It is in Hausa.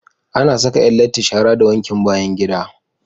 Ana Saka Yan latti shara da wankin bayan gida